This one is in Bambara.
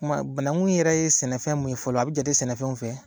Tuma banakun yɛrɛ ye sɛnɛfɛn mun ye fɔlɔ a bɛ jate sɛnɛfɛnw fɛ